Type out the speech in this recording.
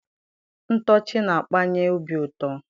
Ntọchi na-akpanye obi ụtọ.